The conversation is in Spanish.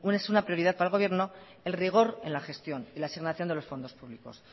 prioridad para el gobierno el rigor en la gestión y la asignación de los fondos públicos